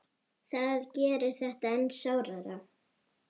Það gerir þetta enn sárara.